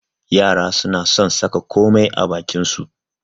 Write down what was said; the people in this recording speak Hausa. Yara suna son saka komai a bakin su.